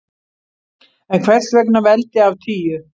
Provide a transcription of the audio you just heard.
En hvers vegna veldi af tíu?